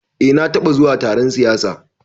Eh na taɓa zuwa taron siyasa